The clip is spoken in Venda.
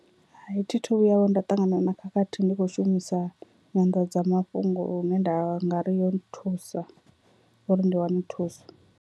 Hai, thi thu vhuya vho nda ṱangana na khakhathi ndi kho shumisa nyanḓadzamafhungo lune nda nga ri yo nthusa uri ndi wane thuso.